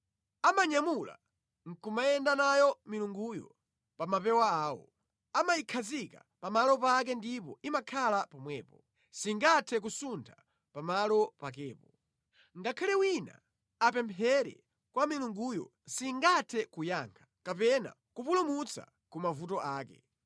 Amanyamula nʼkumayenda nayo milunguyo pa mapewa awo; amayikhazika pa malo pake ndipo imakhala pomwepo. Singathe kusuntha pamalo pakepo. Ngakhale wina apemphere kwa milunguyo singathe kuyankha; kapena kumupulumutsa ku mavuto ake.